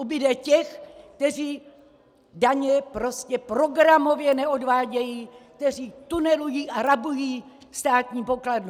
Ubude těch, kteří daně prostě programově neodvádějí, kteří tunelují a rabují státní pokladnu!